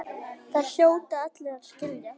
Það hljóta allir að skilja.